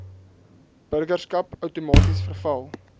burgerskap outomaties verval